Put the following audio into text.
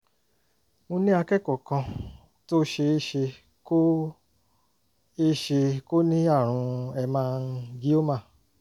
mo ní akẹ́kọ̀ọ́ kan tó ṣe é ṣe kó é ṣe kó ní àrùn hemangioma